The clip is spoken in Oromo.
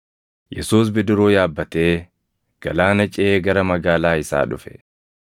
Yesuus bidiruu yaabbatee galaana ceʼee gara magaalaa isaa dhufe.